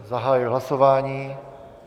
Zahajuji hlasování.